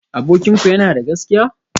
Abokinku yana da gaskiya?